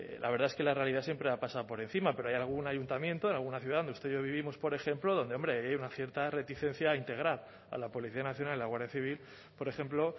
la verdad es que la realidad siempre ha pasado por encima pero hay algún ayuntamiento en alguna ciudad donde usted y yo vivimos por ejemplo donde hombre hay una cierta reticencia a integrar a la policía nacional y a la guardia civil por ejemplo